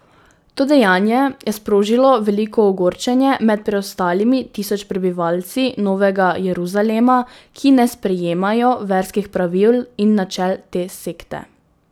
To dejanje je sprožilo veliko ogorčenje med preostalimi tisoč prebivalci Novega Jeruzalema, ki ne sprejemajo verskih pravil in načel te sekte.